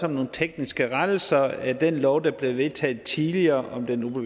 om nogle tekniske rettelser af den lov der blev vedtaget tidligere om den